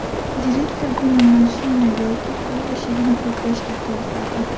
Direktor buni mashina yoki uy eshigini qulflashga qiyosladi.